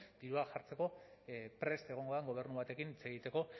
dirua jartzeko prest egongo den gobernu batekin hitz egiteko